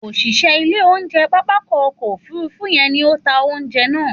Òṣìṣẹ́ ilé oúnjẹ pápákọ̀ òfurufú yẹn ni ó ta ounjẹ náà